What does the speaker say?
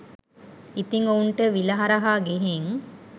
ඉතින් ඔවුන්ට විල හරහා ගිහින්